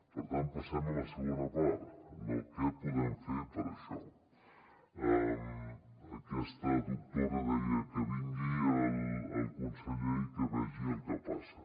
per tant passem a la segona part no què podem fer per a això aquesta doctora deia que vingui el conseller i que vegi el que passa